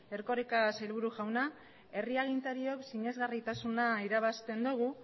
erkoreka sailburu jauna herri agintariok sinesgarritasuna irabazten dugu